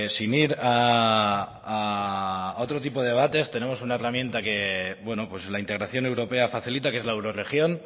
sin ir a otro tipo de debates tenemos una herramienta que la integración europea facilita que es la eurorregión